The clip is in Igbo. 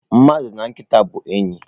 Mmadụ na nkịta bụ enyi.